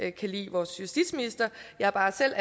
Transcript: ikke kan lide vores justitsminister jeg er bare selv